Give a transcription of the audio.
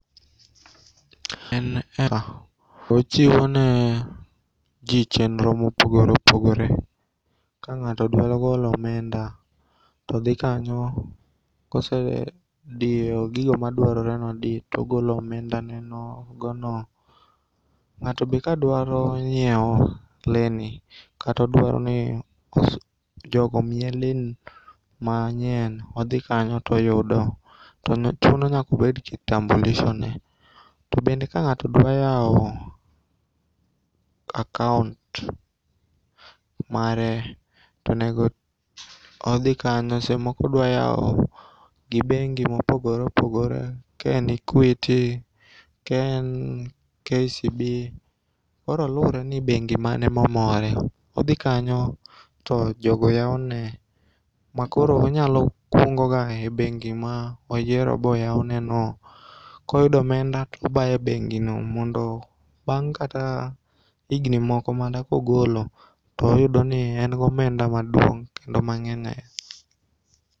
En era. Ochiwoneji chenro mopogore opogore. Ka ng'ato dwarogolo omenda todhi kanyo kosedio gigo maduaroreni odii togolo omenda ne nogono.Ng'ato be kadwaro nyieo leni katodwaroni jogo omiye len manyien, odhi kanyotoyudo. To chuno nyakobedgi kitambulishone, To bende ka ng'ato dwayao akaont mare tonego odhi kanyo sesemoko odwayao gi bengi mopogore opogore ken Eduity, ken KCB koro luore ni bengi mane mamore. Odhi kanyo to jogo yaone ma koro onyalo kungoga e bengi moyiero boyauneno. Koyudo omenda tobaye bengino mondo bang' kata igni moko makogolo toyudoni en gomenda maduong' kendo mang'eny ainya.